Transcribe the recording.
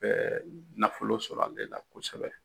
Bɛ nafolo sɔrɔ ale la kosɛbɛ.